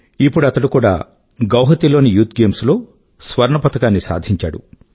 ఇప్పుడు అతడు కూడా గువాహాటీ లోని యూత్ గేమ్స్ లో స్వర్ణ పతకాన్ని సాధించాడు